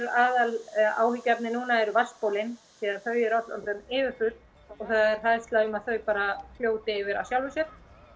aðal áhyggjuefnið núna eru vatnsbólin því að þau eru öll orðin yfirfull og það er hræðslu um að þau bara fljóti yfir af sjálfu sér